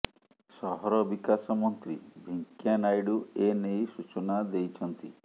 ସହର ବିକାଶ ମନ୍ତ୍ରୀ ଭେଙ୍କିୟା ନାଇଡୁ ଏନେଇ ସୂଚନା ଦେଇଛନ୍ତି